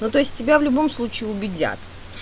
ну то есть тебя в любом случае убедят